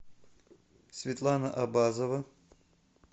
светлана абазова